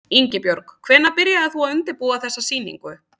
Ingibjörg, hvenær byrjaðir þú að undirbúa þessa sýningu?